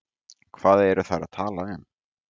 hvað eru þær að tala um